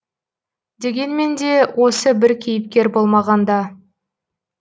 дегенмен де осы бір кейіпкер болмағанда